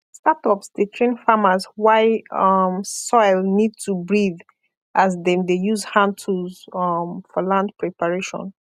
startups dey train farmers why um soil need to breathe as dem de use hand tools um for land preparation